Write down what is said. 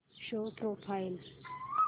show profile